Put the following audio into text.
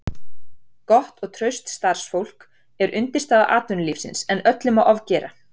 Gott og traust starfsfólk er undirstaða atvinnulífsins en öllu má ofgera.